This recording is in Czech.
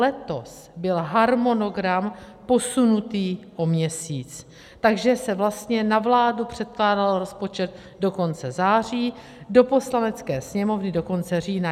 Letos byl harmonogram posunutý o měsíc, takže se vlastně na vládu předkládal rozpočet do konce září, do Poslanecké sněmovny do konce října.